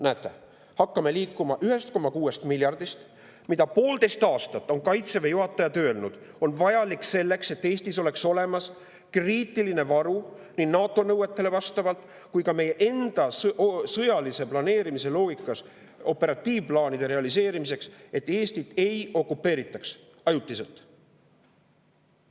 Näete, hakkasime liikuma 1,6 miljardist, mis, nagu poolteist aastat on Kaitseväe juhatajad öelnud, on vajalik selleks, et Eestis oleks olemas kriitiline varu nii NATO nõuetele vastavalt kui ka meie enda sõjalise planeerimise loogikas operatiivplaanide realiseerimiseks, et Eestit ei okupeeritaks ajutiselt.